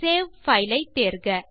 save file ஐ தேர்க